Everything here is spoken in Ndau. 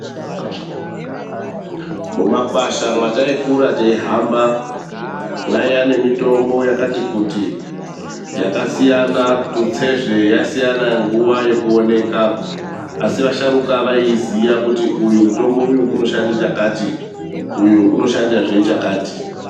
Mumakwasha mwataikura teihamba mwaiya nemitombo yakatikuti yakasiyana tutsezve yaisiyanahe nguva yekuoneka asi asharuka vaiiziya kuti uyu mutombo unoshanda chakati uyu unoshandazve chakati.